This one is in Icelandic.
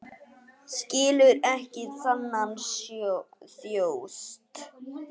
Skilur ekki þennan þjóst.